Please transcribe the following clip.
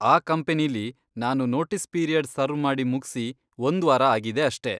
ಆ ಕಂಪನಿಲಿ ನಾನು ನೋಟೀಸ್ ಪೀರಿಯಡ್ ಸರ್ವ್ ಮಾಡಿ ಮುಗ್ಸಿ ಒಂದ್ವಾರ ಆಗಿದೆ ಅಷ್ಟೇ.